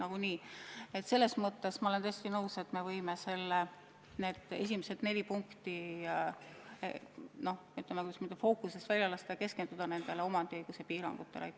Aga ma olen tõesti nõus, et me võime need esimesed neli punkti, kuidas ma ütlen, fookusest välja võtta ja keskenduda omandiõiguse piirangutele.